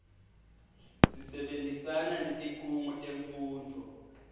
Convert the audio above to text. sisebentisana netikhungo temfundvo